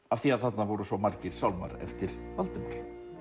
af því að þarna voru svo margir sálmar eftir Valdimar